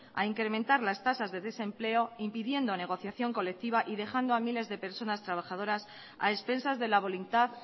a incrementar las tasas de desempleo impidiendo negociación colectiva y dejando a miles de personas trabajadoras a expensas de la voluntad